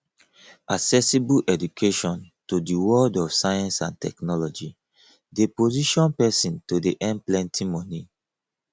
accessible education to di world of science and technology de position persin to de earn plenty moni